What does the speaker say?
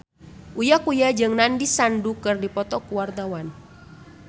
Uya Kuya jeung Nandish Sandhu keur dipoto ku wartawan